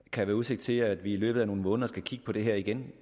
kan være udsigt til at vi i løbet af nogle måneder skal kigge på det her igen